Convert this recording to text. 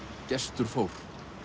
Gestur fór